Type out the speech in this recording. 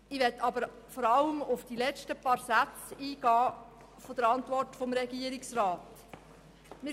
Ich möchte aber vor allem auf die letzten paar Sätze der Antwort des Regierungsrats eingehen.